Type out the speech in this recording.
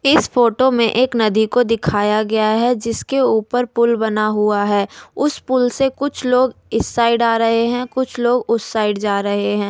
इस फोटो में एक नदी को दिखाया गया है जिसके ऊपर पुल बना हुआ है उस पुल से कुछ लोग इस साइड आ रहे हैं कुछ लोग उस साइड जा रहे हैं।